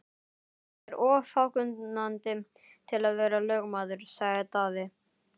Ég er of fákunnandi til að vera lögmaður, sagði Daði.